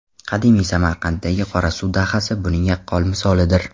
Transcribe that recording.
Qadimiy Samarqanddagi Qorasuv dahasi buning yaqqol misolidir.